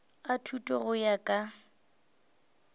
a thuto go ya ka